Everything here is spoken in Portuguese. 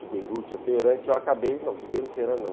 De Beirute a Teherã, que eu acabei... Não, de Beirute a Teherã não.